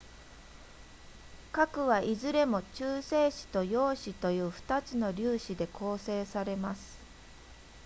核はいずれも中性子と陽子という2つの粒子で構成されます